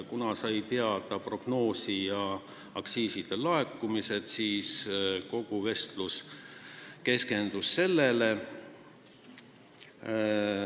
Nimelt saime teada prognoosi ja senised aktsiiside laekumised ning kogu vestlus keskendus sellele.